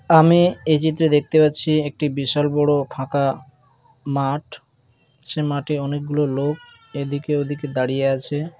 আমি এই চিত্রে দেখতে পাচ্ছি একটি বিশাল বড়ো ফাঁকা মাঠ সে মাঠে অনেকগুলো লোক এদিকে ওদিকে দাঁড়িয়ে আছে।